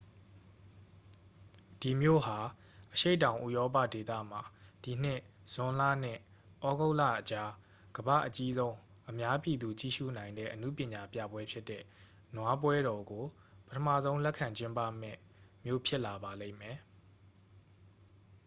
ဒီမြို့ဟာ အရှေ့တောင် ဥရောပဒေသမှာ ဒီနှစ် ဇွန်လနဲ့ ဩဂုတ်လအကြား ကမ္ဘာ့အကြီးဆုံး အများပြည်သူ ကြည့်ရှုနိုင်တဲ့ အနုပညာပြပွဲဖြစ်တဲ့ နွားပွဲတော်ကို ပထမဆုံး လက်ခံကျင်းပမယ့် မြို့ဖြစ်လာပါလိမ့်မယ်